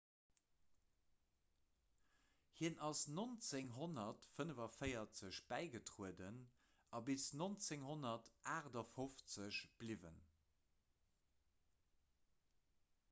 hien ass 1945 bäigetrueden a bis 1958 bliwwen